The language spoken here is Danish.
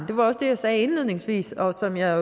det var også det jeg sagde indledningsvis og som jeg